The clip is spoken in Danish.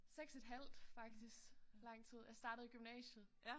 6 et halvt faktisk lang tid jeg startede i gymnasiet